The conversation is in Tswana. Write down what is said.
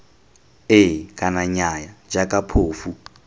ee kana nnyaya jaaka phofu